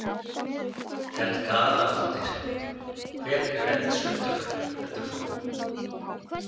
Helga Arnardóttir: Hver eru eldsupptök, heldur þú?